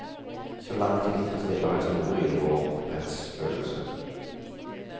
Så langt tilfredsstiller historien vår rettsfølelse.